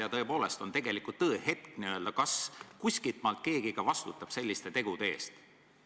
Ja tõepoolest on tõehetk, kas kuskilt maalt keegi ka vastutab selliste tegude eest.